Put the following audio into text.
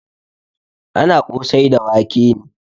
Ana kosai da wake ne.